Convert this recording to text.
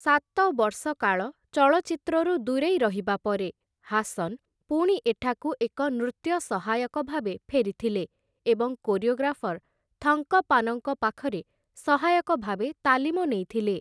ସାତ ବର୍ଷ କାଳ ଚଳଚ୍ଚିତ୍ରରୁ ଦୂରେଇ ରହିବା ପରେ, ହାସନ୍‌ ପୁଣି ଏଠାକୁ ଏକ ନୃତ୍ୟ ସହାୟକ ଭାବେ ଫେରିଥିଲେ ଏବଂ କୋରିଓଗ୍ରାଫର ଥଙ୍କପ୍ପାନଙ୍କ ପାଖରେ ସହାୟକ ଭାବେ ତାଲିମ ନେଇଥିଲେ ।